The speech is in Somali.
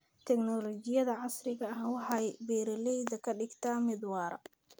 Tignoolajiyada casriga ahi waxa ay beeralayda ka dhigtaa mid waara.